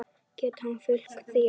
Getur hann fylgt því eftir?